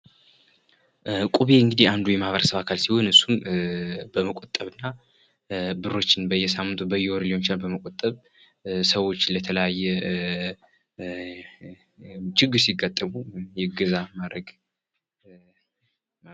እቁብ እንግዲህ የአንዱ የማህበረሰብ አካል ሲሆን በመቆጠብና ብሮችን በየሳምንቱ ወይም ደሞ በወሩ ሊሆን ይችላል ።ሰዎች የተለያየ ችግር ሲገጥማቸው እገዛ የሚያደርግ ነው